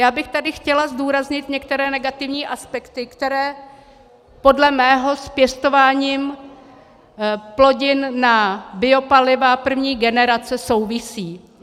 Já bych tady chtěla zdůraznit některé negativní aspekty, které podle mého s pěstováním plodin na biopaliva první generace souvisí.